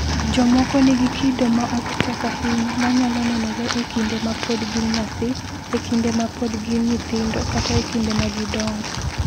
"Jomoko nigi kido ma ok tek ahinya ma nyalo nenore e kinde ma pod gin nyathi, e kinde ma pod gin nyithindo, kata e kinde ma gidongo."